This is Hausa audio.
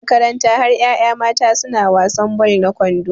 Makaranta har yaya mata suna wasan ball na kwando